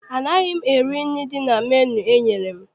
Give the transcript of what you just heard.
Anaghị m eri nri dị na menu enyere m.